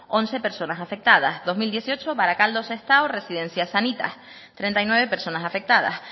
once personas afectadas dos mil dieciocho barakaldo sestao residencia sanitas treinta y nueve personas afectadas